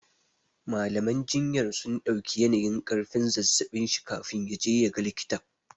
Mallam jinyar sun ɗauki yanayin ƙarfin zazzaɓin shi kafin ya je ya ga likitan.